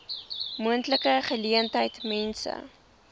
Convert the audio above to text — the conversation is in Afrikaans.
moontlike geleentheid mense